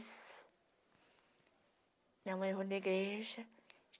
Minha mãe foi na igreja.